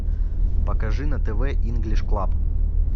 покажи на тв инглиш клаб